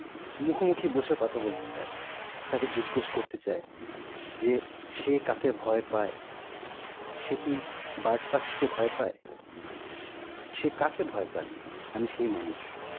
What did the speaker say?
মুখোমুখি বসে কথা বলতে চাই, তাকে জিজ্ঞেস করতে চাই যে, সে কাকে ভয় পায়? সে কি বাজপাখি কে ভয় পাই? সে কাকে ভয় পায়? আমি সেই মানুষ.